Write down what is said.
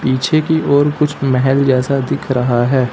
पीछे की ओर कुछ महल जैसा दिख रहा है।